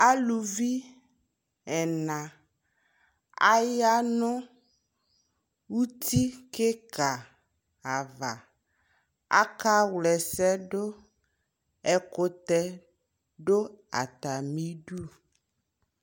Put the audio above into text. Aluvi ɛla awla nu uti kika avaAka wlɛ sɛ du ƐKutɛ du ata mi du